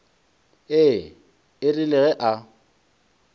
ee e rile ge a